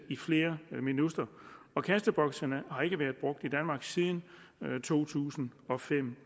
i flere minutter kasteboksene har ikke været brugt i danmark siden to tusind og fem